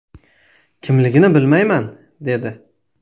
Kimligini bilmayman”, dedi.